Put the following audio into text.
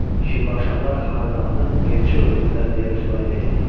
Şirvanşahlar xanədanını elçi öldürdülər deyə rüsvay etməyin.